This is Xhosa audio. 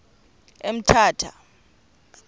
emthatha